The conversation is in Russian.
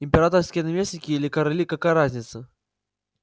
императорские наместники или короли какая разница